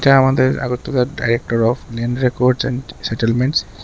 এটা আমাদের director of land records and settlements.